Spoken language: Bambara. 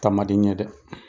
Taa man di ɲɛ dɛ!